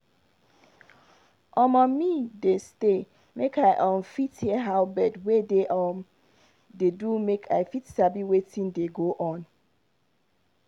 omo me dey stay make i um fit hear how bird wey dey up um dey do make i fit sabi wetin dey go on.